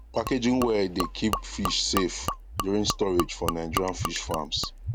packaging well dey keep keep fish safe during storage for nigerian fish farms